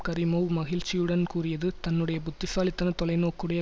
Karimov மகிழ்ச்சியுடன் கூறியது தன்னுடைய புத்திசாலித்தன தொலைநோக்குடைய